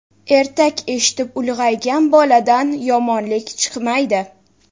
Ertak eshitib ulg‘aygan boladan yomonlik chiqmaydi.